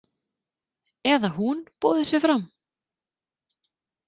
Eða hún boðið sig fram?